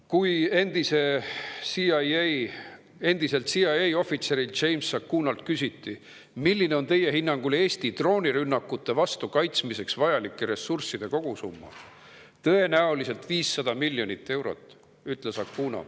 Kui endiselt CIA James Acunalt küsiti, milline on tema hinnangul Eesti droonirünnakute vastu kaitsmiseks vajalike ressursside kogusumma, ütles ta, et tõenäoliselt 500 miljonit eurot.